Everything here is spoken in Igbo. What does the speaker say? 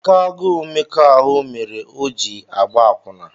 Oké agụụ mmekọ ahụ mere o ji agba akwụna